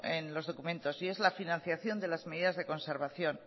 en los documentos y es la financiación de las medidas de conservación